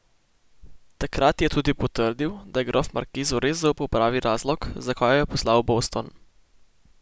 Takrat ji je tudi potrdil, da je grof markizu res zaupal pravi razlog, zakaj jo je poslal v Boston.